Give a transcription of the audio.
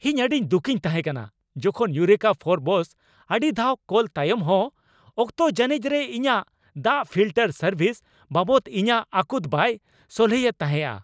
ᱤᱧ ᱟᱹᱰᱤᱧ ᱫᱩᱠᱤᱧ ᱛᱟᱦᱮᱸᱠᱟᱱᱟ ᱡᱚᱠᱷᱚᱱ ᱤᱭᱩᱨᱮᱠᱟ ᱯᱷᱳᱨᱵᱚᱥ ᱟᱹᱰᱤ ᱫᱷᱟᱣ ᱠᱚᱞ ᱛᱟᱭᱚᱢᱦᱚᱸ ᱚᱠᱛᱚ ᱡᱟᱹᱱᱤᱡ ᱨᱮ ᱤᱧᱟᱹᱜ ᱫᱟᱜ ᱯᱷᱤᱞᱴᱟᱨ ᱥᱟᱨᱵᱷᱤᱥ ᱵᱟᱵᱚᱫ ᱤᱧᱟᱹᱜ ᱟᱹᱠᱩᱛ ᱵᱟᱭ ᱥᱚᱞᱦᱮᱭᱮᱫ ᱛᱟᱦᱮᱸᱜᱼᱟ ᱾